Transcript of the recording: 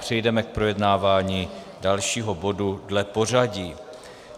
Přejdeme k projednávání dalšího bodu dle pořadí.